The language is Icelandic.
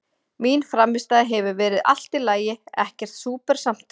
Mín frammistaða hefur verið allt í lagi, ekkert súper samt.